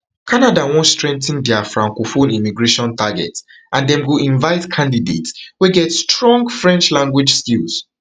canada wan strengthen dia francophone immigration target and dem go invite candidates wey get strong french language skills